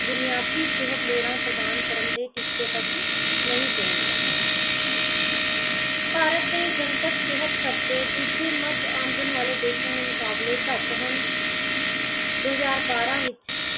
ਬੁਨਿਆਦੀ ਸਿਹਤ ਲੋੜਾਂ ਪ੍ਰਦਾਨ ਕਰਨ ਦੇ ਟੀਚੇ ਤੱਕ ਨਹੀਂ ਪਹੁੰਚਦਾ। ਭਾਰਤ ਦੇ ਜਨਤਕ ਸਿਹਤ ਖਰਚੇ ਦੂਜੇ ਮਦ ਆਮਦਨ ਵਾਲੇ ਦੇਸ਼ਾਂ ਦੇ ਮੁਕਾਬਲੇ ਘੱਟ ਹਨ । ਦੋ ਹਜ਼ਾਰ ਬਾਰਾਂ ਵਿੱਚ